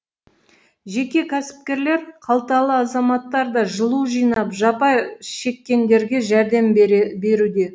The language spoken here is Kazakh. жеке кәсіпкерлер қалталы азаматтар да жылу жинап жапа шеккендерге жәрдем беруде